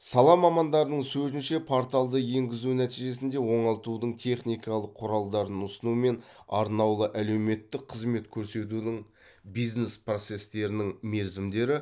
сала мамандарының сөзінше порталды енгізу нәтижесінде оңалтудың техникалық құралдарын ұсыну мен арнаулы әлеуметтік қызмет көрсетудің бизнес процестерінің мерзімдері